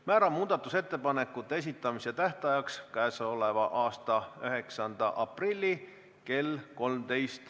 Määran muudatusettepanekute esitamise tähtajaks k.a 9. aprilli kell 13.